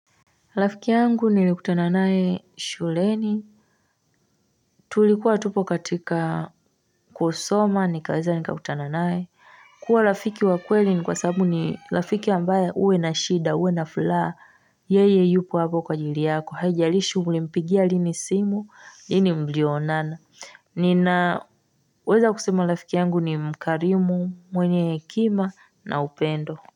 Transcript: Rafiki yangu nilikutananae shuleni tulikuwa tupo katika kwa soma nikaweza nikakutananae kuwa rafiki wa kweli ni kwa sababu ni rafiki ambaye uwe na shida uwe na furaha yeye yupo hapo kwa ajili yako haijalishi mlimpigia lini simu lini mblionana ninaweza kusema rafiki yangu ni mkarimu mwenye hekima na upendo.